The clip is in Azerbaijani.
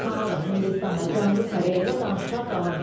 Kanada, Hindistan və Cənubi Koreya ilə danışıqlar davam edir.